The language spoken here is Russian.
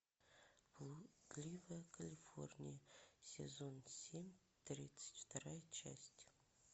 блудливая калифорния сезон семь тридцать вторая часть